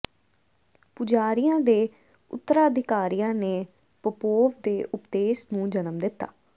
ਪੁਜਾਰੀਆਂ ਦੇ ਉਤਰਾਧਿਕਾਰੀਆਂ ਨੇ ਪੋਪੋਵ ਦੇ ਉਪਦੇਸ ਨੂੰ ਜਨਮ ਦਿੱਤਾ